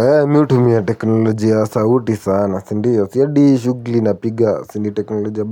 Eeh me hutumia teknolojia ya sauti sana, sindio, si hadi hii shughuli napiga bado ni teknolojia